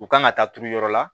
U kan ka taa turu yɔrɔ la